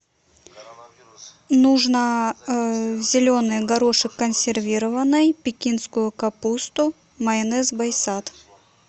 нужно зеленый горошек консервированный пекинскую капусту майонез байсад